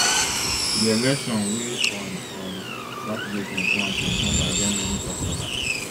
di election wey on um saturday twenty-one september get many kasala